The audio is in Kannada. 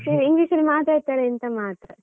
English ಅಲ್ಲಿ ಮಾತಾಡ್ತಾರೆ ಅಂತ ಮಾತ್ರ.